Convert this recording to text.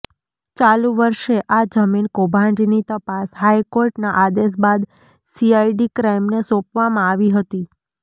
ચાલુ વર્ષે આ જમીન કૌભાંડની તપાસ હાઇકોર્ટના આદેશ બાદ સીઆઇડી ક્રાઇમને સોંપવામાં આવી હતી